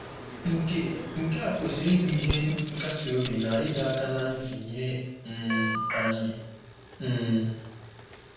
Nke Nke a kwesịrị ịbụ ihe nkasiobi na ịdọ aka ná ntị nye um anyị. um